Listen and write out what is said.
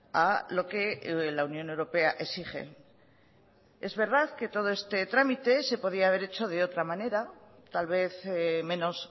a lo que la unión europea exige es verdad que todo este trámite se podía haber hecho de otra manera tal vez menos